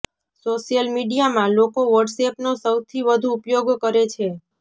social મીડિયામાં લોકો વોટ્સએપનો સૌથી વધુ ઉપયોગ કરે છે